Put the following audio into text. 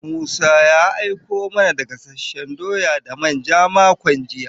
Musa ya aiko mana da gasasshen doya da manja makon jiya.